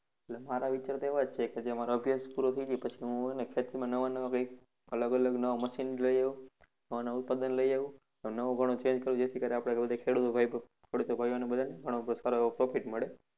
એટલે મારા વિચાર તો એવા જ છે કે જે મારો અભ્યાસ પૂરો થઇ જાય પછી હુ છે ને ખેતીમાં નવા નવા કંઈક અલગ અલગ નવા machine લઇ આવું અને ઉત્પાદન લઇ આવું અને નવું ઘણું change કરું જેથી કરી આપણે રોજે ભાઈઓ બધાને ઘણો સારો એવો profit મળે.